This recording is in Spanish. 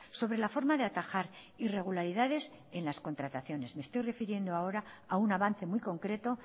sobre la forma de atajar irregularidades en las contrataciones me estoy refiriendo ahora a un avance muy concreto